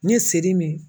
Ni seli min